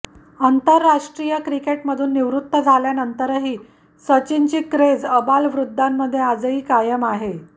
आंतरराष्ट्रीय क्रिकेटमधून निवृत्त झाल्यानंतरही सचिनची क्रेझ आबालवृद्धांमध्ये आजही कायम आहे